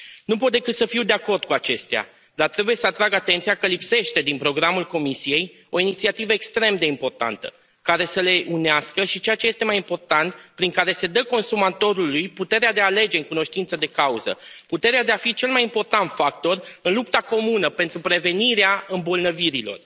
Nu pot decât să fiu de acord cu acestea, dar trebuie să atrag atenția că lipsește, din programul Comisiei, o inițiativă extrem de importantă, care să le unească și, ceea ce este mai important, prin care se dă consumatorului puterea de a alege în cunoștință de cauză, puterea de a fi cel mai important factor în lupta comună pentru prevenirea îmbolnăvirilor.